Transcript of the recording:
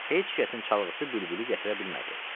Heç kəsin çalğısı bülbülü gətirə bilmədi.